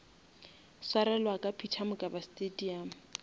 swarelwa ka peter mokaba stadium